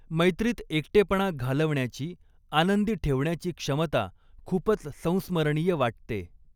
मैत्रीत एकटेपणा घालवण्याची, आनंदी ठेवण्याची क्षमता खुपच संस्मरणीय वाटते.